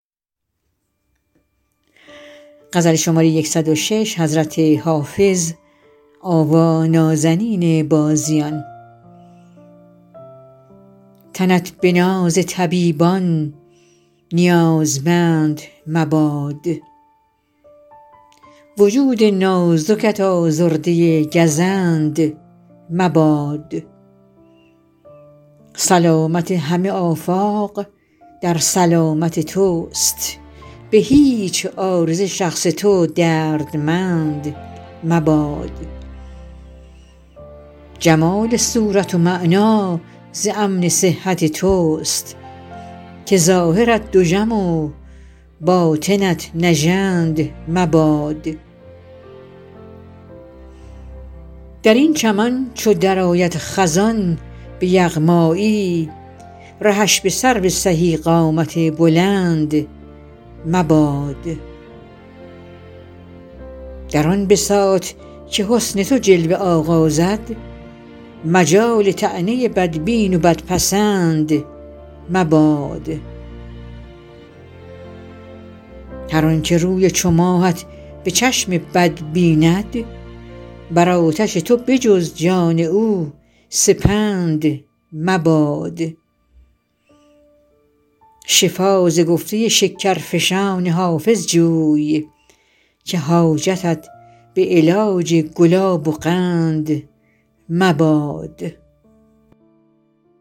تنت به ناز طبیبان نیازمند مباد وجود نازکت آزرده گزند مباد سلامت همه آفاق در سلامت توست به هیچ عارضه شخص تو دردمند مباد جمال صورت و معنی ز امن صحت توست که ظاهرت دژم و باطنت نژند مباد در این چمن چو درآید خزان به یغمایی رهش به سرو سهی قامت بلند مباد در آن بساط که حسن تو جلوه آغازد مجال طعنه بدبین و بدپسند مباد هر آن که روی چو ماهت به چشم بد بیند بر آتش تو به جز جان او سپند مباد شفا ز گفته شکرفشان حافظ جوی که حاجتت به علاج گلاب و قند مباد